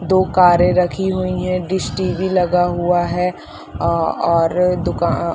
दो कारें रखी हुई है डिश टी_वी लगा हुआ है और अ और दुकान--